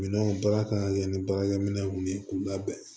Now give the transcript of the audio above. Minɛnw baara kan ka kɛ ni baarakɛminɛw ye k'u labɛn